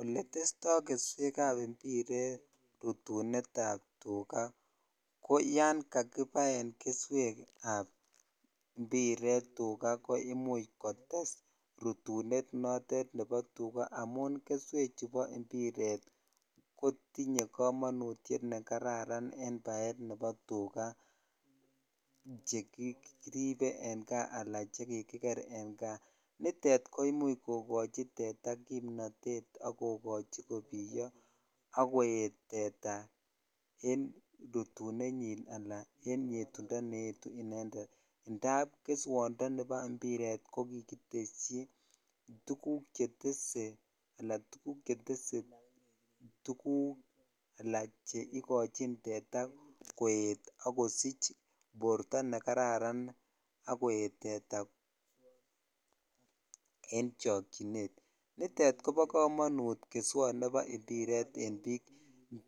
Oletestoi keswekab mbiret rutunetab tukaa ko yoon kakibaen keswekab mbiret tukaa koimuch kotes rutunet nebo tukaa amun keswek chubo mbiret kotinye komonutiet nekararan en baet nebo tukaa chekiribe en kaa anan chekribe en kaa, nitet ko imuch kokochi teta kimnotet ak kokochi ko kibiyo ak koet teta en rutunenyin alaa en yetundo neyetu inendet indaab keswondoni nibo mbiret ko kikiteshi tukuk chetese anan tukuk chetese tukuk alaa cheikochin teta koet ak kosich borto ne kararan ak koet teta en chokyinet, nitet kobo komonut keswot nebo mbiret en biik